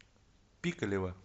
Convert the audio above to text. пикалево